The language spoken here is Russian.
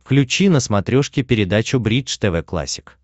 включи на смотрешке передачу бридж тв классик